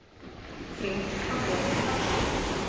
Frétt á vef Hafró